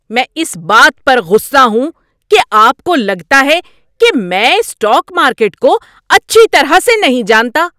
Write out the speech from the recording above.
میں اس بات پر غصہ ہوں کہ آپ کو لگتا ہے کہ میں اسٹاک مارکیٹ کو اچھی طرح سے نہیں جانتا۔